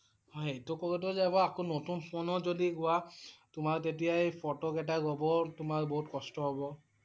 হয়। এইটো কৰোঁতে যাব আকৌ নতুন ফোনো যদি লোৱা তোমাৰ তেতিয়া এই ফটো কেইটা লব তোমাৰ বহুত কষ্ট হব ।